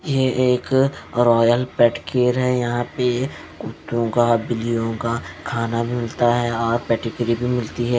ये एक Royal Pet Cure है यहाँ कुत्तो का बिलियो का खाना मिलता है यहाँ पेडिगिरि बि मिलती है।